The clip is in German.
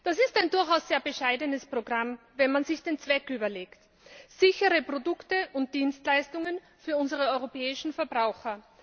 Das ist ein durchaus sehr bescheidenes Programm, wenn man sich den Zweck überlegt sichere Produkte und Dienstleistungen für unsere europäischen Verbraucher.